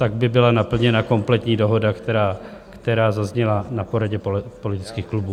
Tak by byla naplněna kompletní dohoda, která zazněla na poradě politických klubů.